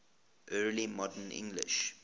early modern english